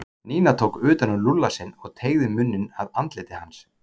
Nína tók utan um Lúlla sinn og teygði munninn að andliti hans.